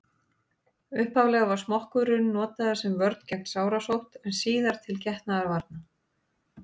upphaflega var smokkurinn notaður sem vörn gegn sárasótt en síðar til getnaðarvarna